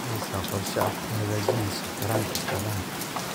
Mahaysaa qorshe aad ku hagaajinayso taranka xoolaha?